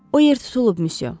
O yer tutulub, Müsyo.